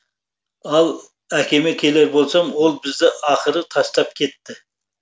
ал әкеме келер болсам ол бізді ақыры тастап кетті